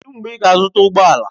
Kedụ mgbe ị ga-azụta ụgbọ ala?